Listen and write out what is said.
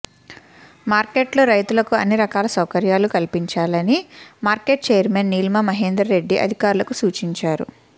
మార్కెట్లలో రైతులకు అన్ని రకాల సౌకర్యాలు కల్పించాలని మార్కెట్ చైర్మెన్ నీలిమా మహేందర్రెడ్డి అధికారులకు సూచించారు